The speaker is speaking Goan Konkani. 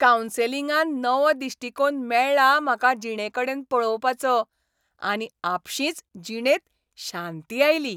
कावन्सिलिंगान नवो दिश्टिकोण मेळ्ळो म्हाका जिणेकडेन पळोवपाचो, आनी आपशींच जिणेंत शांती आयली.